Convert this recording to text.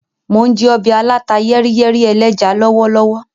Mo n jẹ ọbẹ aláta-yẹ́ríyẹ́rí ẹlẹ́ja lọwọlọwọ.